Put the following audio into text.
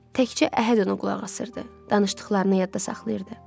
Təkcə Əhəd ona qulaq asırdı, danışdıqlarını yadda saxlayırdı.